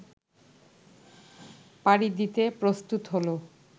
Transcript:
পাড়ি দিতে প্রস্তুত হল